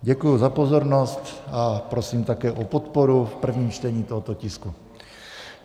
Děkuji za pozornost a prosím také o podporu v prvním čtení tohoto tisku.